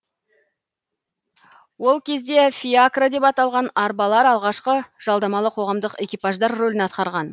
ол кезде фиакра деп аталған арбалар алғашқы жалдамалы қоғамдық экипаждар рөлін атқарған